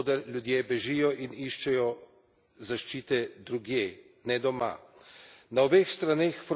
Novo področje, od koder ljudje bežijo in iščejo zaščite drugje, ne doma.